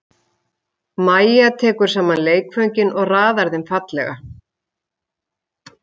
Mæja tekur saman leikföngin og raðar þeim fallega.